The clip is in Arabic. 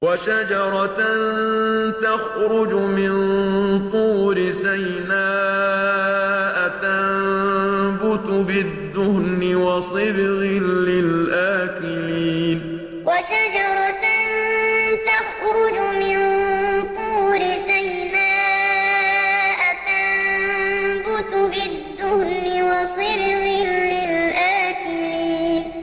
وَشَجَرَةً تَخْرُجُ مِن طُورِ سَيْنَاءَ تَنبُتُ بِالدُّهْنِ وَصِبْغٍ لِّلْآكِلِينَ وَشَجَرَةً تَخْرُجُ مِن طُورِ سَيْنَاءَ تَنبُتُ بِالدُّهْنِ وَصِبْغٍ لِّلْآكِلِينَ